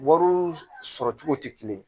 Wariw sɔrɔ cogo tɛ kelen ye